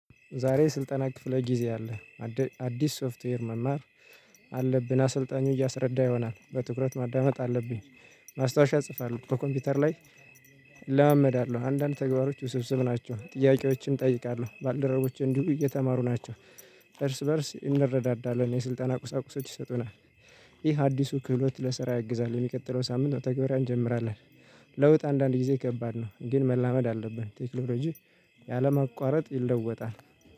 ዛሬ ስልጠና ክፍለ ጊዜ አለ። አዲስ ሶፍትዌር መማር አለብን አሰልጣኙ እያሰረዳ ይሆናል በትኩረት ማዳመጥ አለብኝ ማስታወሻ እጽፋለሁ ከኮምፒውተር ላይ። እለማመዳለሁ አንዳንድ ተግባሮች ውስብስብ ናቸው ጥያቄዎችን እጠይቃለሁ ባልደረቦች እንዲሁ እየተማሩ ናቸው። እርስ በእርስ እንረዳዳለን የስልጣን አቁሳቁሶች ይሰጡናል። ይህ አዲሱ ክህሎት ለስራ ያግዛል የሚቀጥለው ሳምንት ትግበራ እንጀምራለን። ለውጥ አንዳንድ ጊዜ ከባድ ነው። ግን መላመድ አለብን ቴክኖሎጂ ያለምንም ይለወጣል